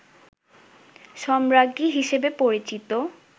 সম্রাজ্ঞী হিসেবে পরিচিত